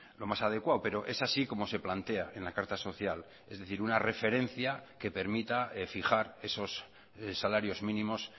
lo más adecuado pero es así como se plantea en la carta social es decir una referencia que permita fijar esos salarios mínimos